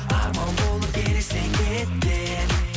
арман болып елестен кетпе